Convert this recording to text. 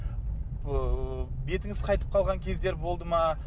ыыы бетіңіз қайтып қалған кездер болды ма